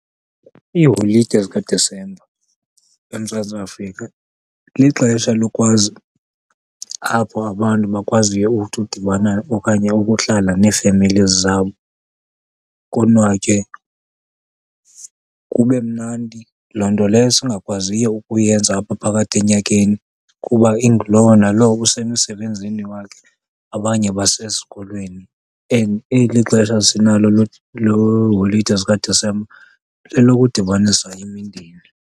Iiholide zikaDisemba eMzantsi Afrika lixesha lokwazi apho abantu bakwaziyo uthi udibana okanye ukuhlala nee-families zabo konwatywe kube mnandi, loo nto leyo singakwaziyo ukuyenza apha phakathi enyakeni kuba ingulowo nalowo usemsebenzini wakhe abanye basesikolweni. And eli xesha sinalo lweholide zikaDisemba lelokudibanisa imindeni.